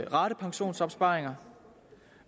ratepensionsopsparinger